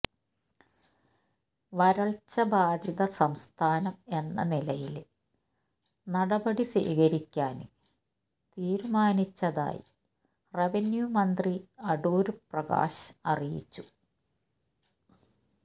വരള്ച്ച ബാധിത സംസ്ഥാനം എന്ന നിലയില് നടപടി സ്വീകരിക്കാന് തീരുമാനിച്ചതായി റവന്യൂമന്ത്രി അടൂര് പ്രകാശ് അറിയിച്ചു